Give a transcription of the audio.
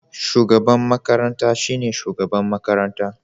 Shugaban makaranta shine shugaban makaranta.